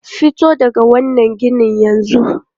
Fito daga wannan ginin yanzu!